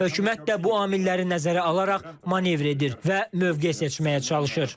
Hökumət də bu amilləri nəzərə alaraq manevr edir və mövqe seçməyə çalışır.